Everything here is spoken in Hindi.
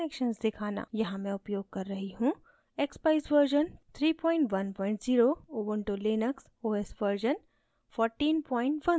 यहाँ में उपयोग कर रही हूँ: